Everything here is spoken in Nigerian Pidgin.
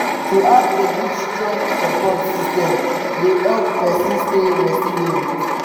to have a good strong support system dey help pesin stay resilient.